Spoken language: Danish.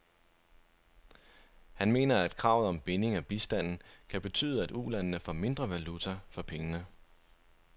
Han mener, at kravet om binding af bistanden kan betyde, at ulandene får mindre valuta for pengene.